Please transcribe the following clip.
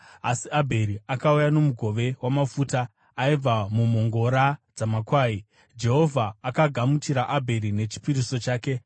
Asi Abheri akauya nomugove wamafuta aibva mumhongora dzamakwai. Jehovha akagamuchira Abheri nechipiriso chake,